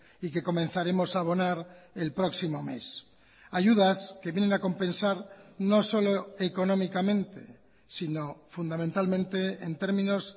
y que comenzaremos a abonar el próximo mes ayudas que vienen a compensar no solo económicamente sino fundamentalmente en términos